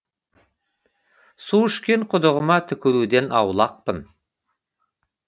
су ішкен құдығыма түкіруден аулақпын